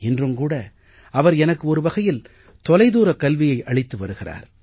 இன்றும் கூட அவர் எனக்கு ஒரு வகையில் தொலைதூரக் கல்வியை அளித்து வருகிறார்